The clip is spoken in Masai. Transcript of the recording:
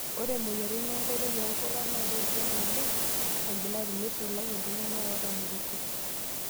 Ore moyiaritin enkoitoi onkulak naa kejong' oleng' embulati, neisulaki iltung'ana ootamorutua.